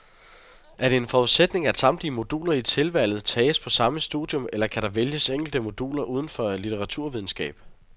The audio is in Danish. Er det en forudsætning, at samtlige moduler i tilvalget tages på samme studium, eller kan der vælges enkelte moduler udenfor litteraturvidenskab?